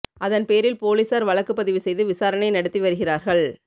அதன் பேரில் போலீசார் வழக்கு பதிவு செய்து விசாரணை நடத்தி வருகிறார்கள்